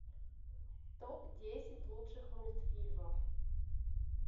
топ десять лучших мультфильмов